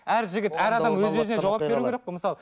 әр жігіт әр адам өз өзіне жауап беру керек қой мысалы